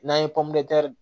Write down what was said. N'an ye pɔmɛri